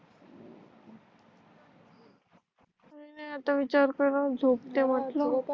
पण आता विचार करू झोपते म्हटल